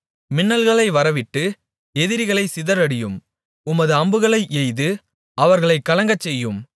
மின்னல்களை வரவிட்டு எதிரிகளைச் சிதறடியும் உமது அம்புகளை எய்து அவர்களைக் கலங்கச்செய்யும்